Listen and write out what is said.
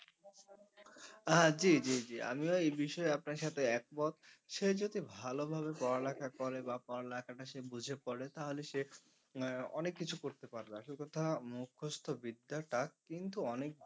হ্যাঁ জি জি জি আমিও এই বিষয়ে আপনার সাথে এক মত সে যদি ভালো ভাবে পড়া লেখা করে বা পড়া লেখাটা সে বুঝে করে তাহলে সে আহ অনেক কিছু করতে পারবে আসল কথা মুখস্থ বিদ্যাটা কিন্তু অনেক